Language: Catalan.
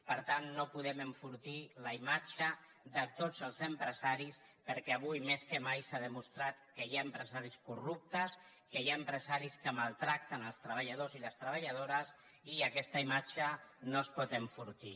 per tant no podem enfortir la imatge de tots els empresaris perquè avui més que mai s’ha demostrat que hi ha empresaris corruptes que hi ha empresaris que maltracten els treballadors i les treballadores i aquesta imatge no es pot enfortir